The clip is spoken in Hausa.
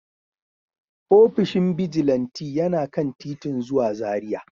Ofishin bijilanti yana kan titin zuwa Zaria.